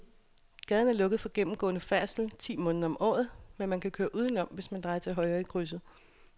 Gaden er lukket for gennemgående færdsel ti måneder om året, men man kan køre udenom, hvis man drejer til højre i krydset.